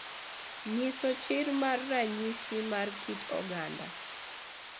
Nyiso chir mar ranyisi mar kit oganda